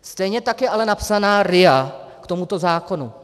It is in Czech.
Stejně tak je ale napsaná RIA k tomuto zákonu.